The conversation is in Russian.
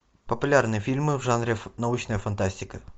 популярные фильмы в жанре научная фантастика